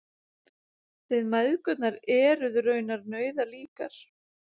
Þið mæðgurnar eruð raunar nauðalíkar